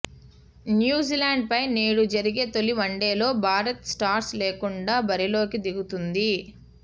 New Zealand పై నేడు జరిగే తొలి వన్డేలో భారత్ స్టార్స్ లేకుండా బరిలోకి దిగుతోంది